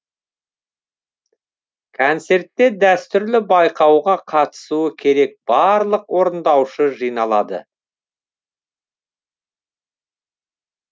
концертте дәстүрлі байқауға қатысуы керек барлық орындаушы жиналады